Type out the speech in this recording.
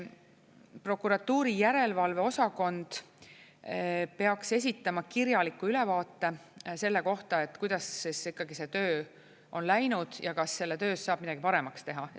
Prokuratuuri järelevalve osakond peaks esitama kirjaliku ülevaate selle kohta, kuidas see töö on läinud ja kas selle töös saab midagi paremaks teha.